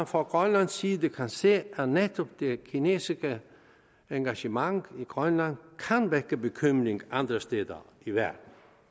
fra grønlandsk side kan se at netop det kinesiske engagement i grønland kan vække bekymring andre steder i verden